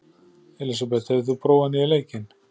Elísabeth, hefur þú prófað nýja leikinn?